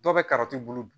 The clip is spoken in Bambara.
Dɔw bɛ kariti bolo